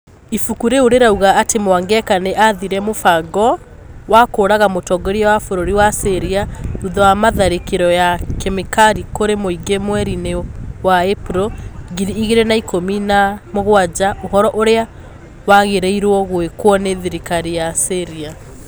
Ibuku rĩu rĩrauga atĩ Mwangeka nĩ athire mũfango wa kũũraga mũtongoria wa bũrũri wa Syria thutha wa tharĩkĩro ya kemicari kũrĩ mũingĩ mweri-inĩ wa Ĩpuro ngiri igĩrĩ na ikũmi na mũgwanja ũhoro ũrĩa wagĩrĩirũo gwĩkwo nĩ thirikari ya Syria